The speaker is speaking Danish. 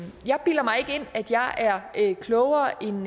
at jeg er klogere end